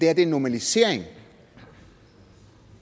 er en normalisering